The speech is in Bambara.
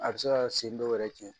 A bɛ se ka sen dɔw yɛrɛ cɛn